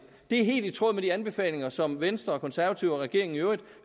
er helt i tråd med de anbefalinger som venstre de konservative og regeringen i øvrigt